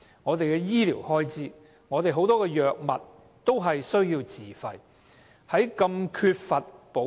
至於醫療開支方面，仍有很多藥物需要自費。